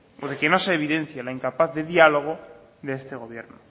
o de que no se evidencia la incapaz de diálogo de este gobierno